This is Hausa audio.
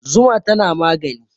Zuma tana magani